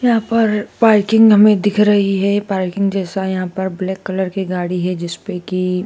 यहां पर पार्किंग हमें दिख रही है पार्किंग जैसा यहां पर ब्लैक कलर गाड़ी है जिस पे की--